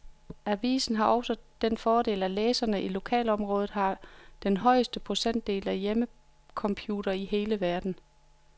Avisen har også den fordel, at læserne i lokalområdet har den højeste procentdel af hjemmecomputere i hele verden.